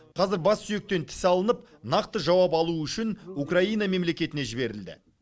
қазір бас сүйектен тіс алынып нақты жауап алу үшін украина мемлекетіне жіберілді